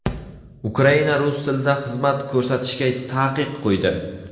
Ukraina rus tilida xizmat ko‘rsatishga taqiq qo‘ydi.